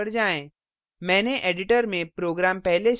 अपने उदाहरण पर जाएँ